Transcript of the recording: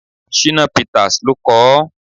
Shina Peters ló kọ ọ́.